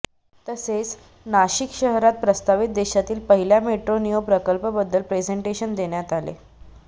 तसेच नाशिक शहरात प्रस्तावित देशातील पहिल्या मेट्रो नियो प्रकल्पबद्दल प्रेझेन्टेशन देण्यात आले